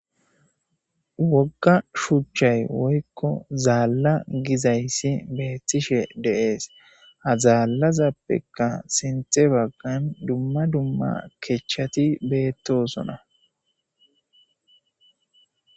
Wogga shuchchay woykko zaalla gizayssi beettishe deees azaallazappeka sinte baggan dumma dumma kechchati beettosona.